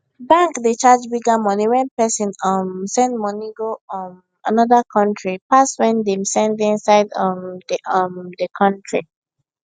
bank dey charge bigger money when person um send money go um another country pass when dem send inside um the um the country